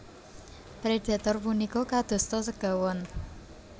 Predhator punika kadosta segawon